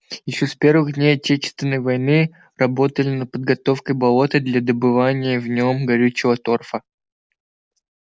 ещё с первых дней отечественной войны работали над подготовкой болота для добывания в нём горючего торфа